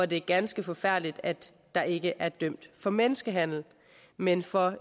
det er ganske forfærdeligt at der ikke er blevet dømt for menneskehandel men for